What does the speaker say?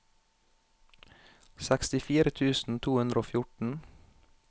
sekstifire tusen to hundre og fjorten